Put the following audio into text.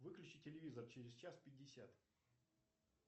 выключи телевизор через час пятьдесят